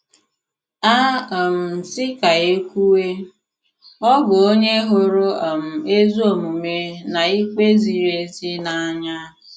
A um sị ka e kwuwe, ọ bụ onye hụrụ um ezi omume na ikpe ziri ezi n'anya.